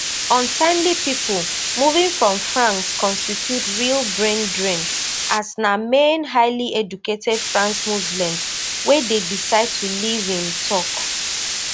ultimately pipo moving from france constitute real braindrain as na mainly highly educated french muslims wey dey decide to leave im tok